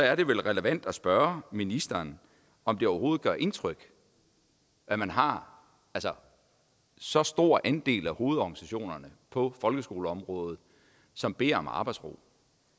er det vel relevant at spørge ministeren om det overhovedet gør indtryk at man har så stor en andel af hovedorganisationerne på folkeskoleområdet som beder om arbejdsro